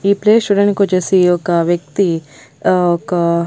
ఈ ప్లేస్ చూడానికొచ్చేసి ఒక వ్యక్తి ఆ ఒక--